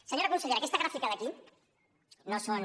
senyora consellera aquesta gràfica d’aquí no són